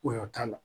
Koyɔ t'a la